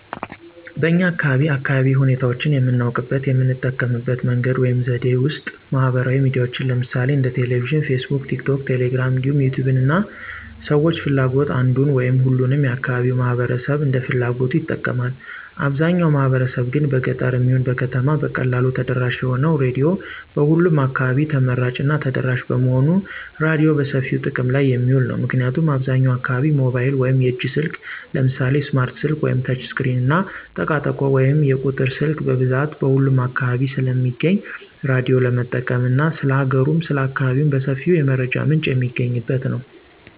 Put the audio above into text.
በኛ አካባቢ አካባቢያዊ ሁኔታዎችን የምናውቅበት የምንጠቀምበት መንገድ ወይም ዘዴ ውስጥ ማህበራዊ ሚዲያዎችን ለምሳሌ እንደ ቴሌቪዥን: ፌስቡክ: ቲክቶክ: ቴሌግራም እንዲሁም ዩቲዩብን እንደ ሰዎች ፍላጎት አንዱን ወይም ሁሉንም የአካባቢው ማህበረሰብ እንደ ፍላጎቱ ይጠቀማል። አብዛው ማህበረሰብ ግን በገጠርም ይሁን በከተማ በቀላሉ ተደራሽ የሆነው ራዲዮ በሁሉም አካባቢ ተመራጭ እና ተደራሽ በመሆኑ ራዲዮ በሰፊው ጥቅም ላይ የሚውል ነው። ምክንያቱም አብዛኛው አካባቢ ሞባይል ወይም የእጅ ስልክ ለምሳሌ ስማርት ስልክ ወይም ተች ስክሪን እና ጠቃጠቆ ወይም የቁጥር ስልክ በብዛት በሁሉም አካባቢ ስለሚገኝ ራዳዮ ለመጠቀም እና ስለ ሀገሩም ስለ አካባቢው በሰፊው የመረጃ ምንጭ የሚገኝበት ነው።